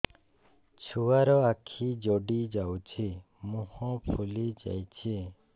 ଛୁଆର ଆଖି ଜଡ଼ି ଯାଉଛି ମୁହଁ ଫୁଲି ଯାଇଛି